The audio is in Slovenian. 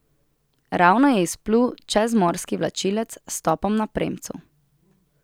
Ravno je izplul čezmorski vlačilec s topom na premcu.